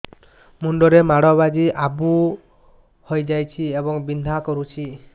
ମୁଣ୍ଡ ରେ ମାଡ ବାଜି ଆବୁ ହଇଯାଇଛି ଏବଂ ବିନ୍ଧା କରୁଛି